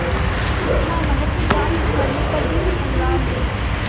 इतना महत्व प्राप्त करने पर भी मैं कंगाल हूँ